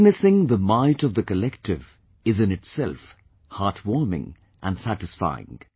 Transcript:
Witnessing the might of the collective is in itself heartwarming & satisfying